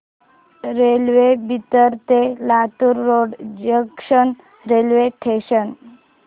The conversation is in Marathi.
रेल्वे बिदर ते Latur road junction railway station